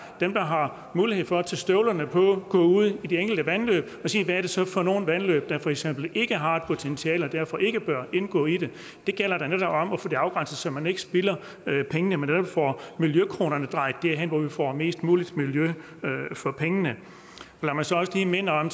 dem der har mulighed for at tage støvlerne på til at gå ud i de enkelte vandløb og sige hvad er det så for nogle vandløb der for eksempel ikke har et potentiale og derfor ikke bør indgå i det det gælder da netop om at få det afgrænset så man ikke spilder pengene men netop får miljøkronerne drejet derhen hvor vi får mest muligt miljø for pengene lad mig så også lige minde om